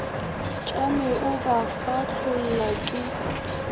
tšame o ba fahlolla ke